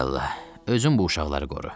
Ay Allah, özün bu uşaqları qoru.